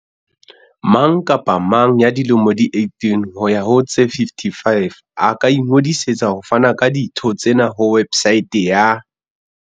Mang kapa mang ya dilemo di 18 ho ya ho tse 55 a ka ingodisetsa ho fana ka ditho tsena ho websaete ya